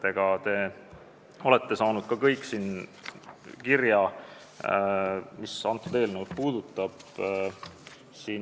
Te kõik olete saanud ka kirja, mis eelnõu puudutab.